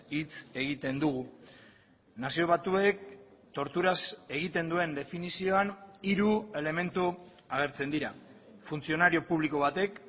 hitz egiten dugu nazio batuek torturaz egiten duen definizioan hiru elementu agertzen dira funtzionario publiko batek